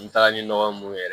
N taga ni nɔgɔ mun yɛrɛ